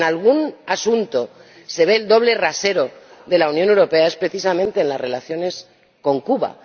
Pero, si en algún asunto se ve el doble rasero de la Unión Europea, es precisamente en las relaciones con Cuba.